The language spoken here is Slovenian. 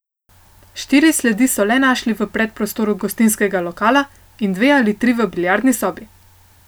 Štiri sledi so le našli v predprostoru gostinskega lokala in dve ali tri v biljardni sobi.